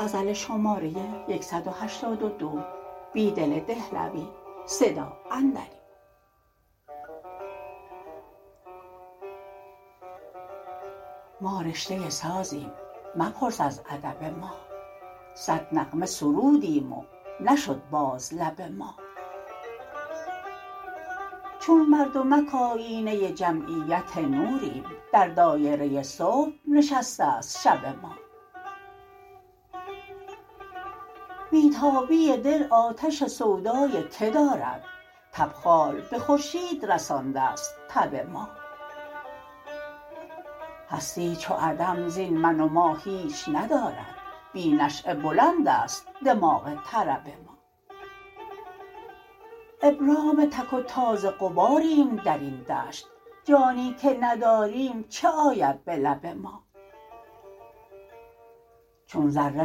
ما رشته سازیم مپرس از ادب ما صد نغمه سرودیم و نشد باز لب ما چون مردمک آیینه جمعیت نوریم در دایره صبح نشسته ست شب ما بی تابی دل آتش سودای که دارد تبخال به خورشید رسانده ست تب ما هستی چو عدم زین من و ما هیچ ندارد بی نشیه بلند است دماغ طرب ما ابرام تک و تاز غباریم در این دشت جانی که نداریم چه آید به لب ما چون ذره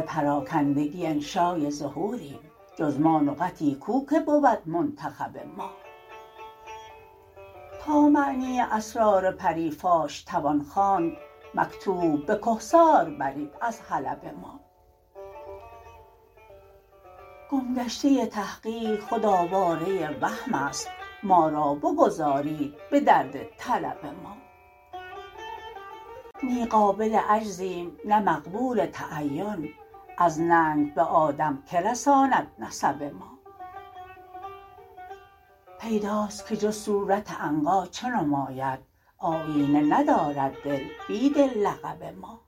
پراکندگی انشای ظهوریم جزما نقطی کو که بر د منتخب ما تا معنی اسرار پری فاش توان خواند مکتوب به کهسار برید از حلب ما گمگشته تحقیق خود آواره وهم است ما را بگذارید به درد طلب ما نی قابل عجزیم نه مقبول تعین از ننگ به آدم که رساند نسب ما پیداست که جز صورت عنقا چه نماید آیینه ندارد دل بیدل لقب ما